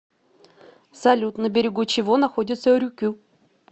салют на берегу чего находится рюкю